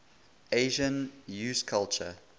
asian usculture